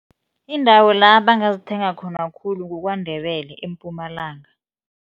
Indawo la bangazithenga khona khulu kuKwaNdebele eMpumalanga.